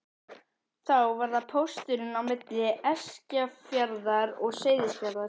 Þá var það pósturinn á milli Eskifjarðar og Seyðisfjarðar.